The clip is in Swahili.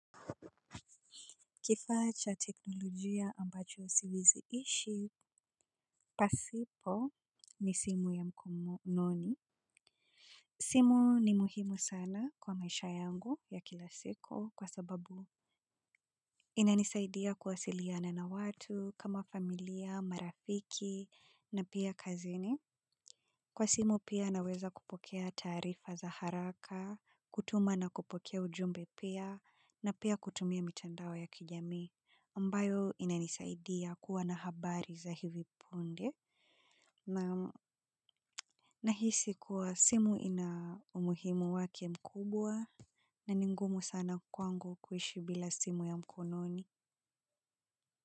Kifaa cha teknolojia ambacho siwezi ishi, pasipo ni simu ya mkononi. Simu ni muhimu sana kwa maisha yangu ya kila siku kwa sababu inanisaidia kuwasiliana na watu kama familia, marafiki, na pia kazini. Kwa simu pia naweza kupokea taarifa za haraka, kutuma na kupokea ujumbe pia, na pia kutumia mitandao ya kijamii ambayo inanisaidia kuwa na habari za hivi punde na hisi kuwa simu ina umuhimu wake mkubwa na ni ngumu sana kwangu kuishi bila simu ya mkononi.